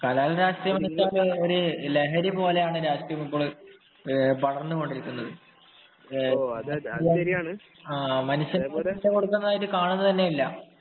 കലാലയ രാഷ്ട്രീയം ഒരു ലഹരി പോലെയാണ് രാഷ്ട്രീയം വളർന്നു കൊണ്ടിരിക്കുന്നത്